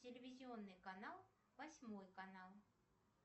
телевизионный канал восьмой канал